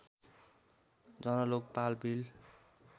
Jan Lokpal bill